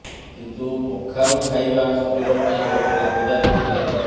କିନ୍ତୁ କଖାରୁ ଖାଇବା ଶରୀର ପାଇଁ ବହୁତ ଲାଭଦାୟକ ହୋଇଥାଏ